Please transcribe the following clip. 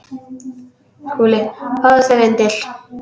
SKÚLI: Fáðu þér vindil.